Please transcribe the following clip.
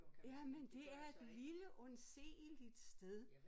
Jamen det er et lille undseeligt sted